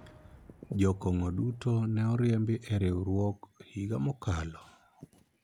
jokong'o duto ne oriembi e riwruok higa mokalo